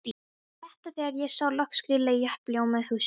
Mér létti þegar ég sá loks grilla í uppljómað húsið.